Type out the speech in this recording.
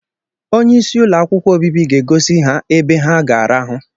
Onye isi ụlọ akwụkwọ obibi ga-egosi ha ebe ha ga-arahụ